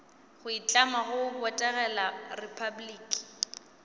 go itlama go botegela repabliki